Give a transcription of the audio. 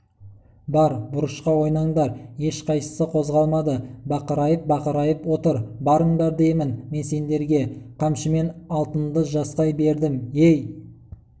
бар бұрышқа ойнаңдар ешқайсысы қозғалмады бақырайып-бақырайып отыр барыңдар деймін мен сендерге қамшымен алтынды жасқай бердім ей